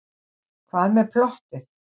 Hvað með plottið?